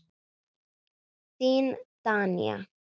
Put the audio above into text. Þín Danía.